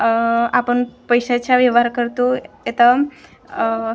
आह आपण पैशाचा व्यवहार करतो येतम आह--